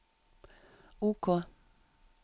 OK